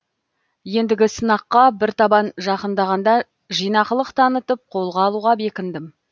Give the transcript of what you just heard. ендігі сынаққа бір табан жақындағанда жинақылық танытып қолға алуға бекіндім